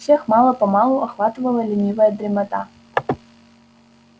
всех мало-помалу охватывала ленивая дремота